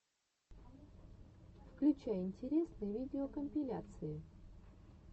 включай интересные видеокомпиляции